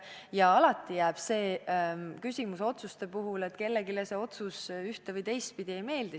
Ja alati jääb otsuste puhul see küsimus, et kellelegi see otsus ühte- või teistpidi ei meeldi.